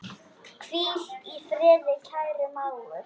Hvíl í friði, kæri mágur.